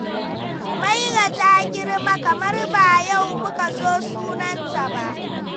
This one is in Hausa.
Humaira ta girma, kamar ba yau muka zo sunanta ba.